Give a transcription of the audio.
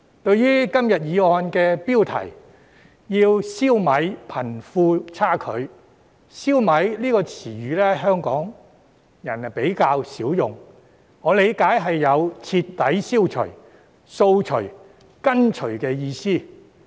在今天議案的標題"消弭貧富差距"中，"消弭"一詞香港人較少用，我理解是有徹底消除、掃除和根除的意思。